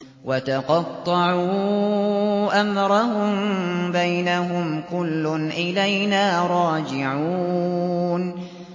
وَتَقَطَّعُوا أَمْرَهُم بَيْنَهُمْ ۖ كُلٌّ إِلَيْنَا رَاجِعُونَ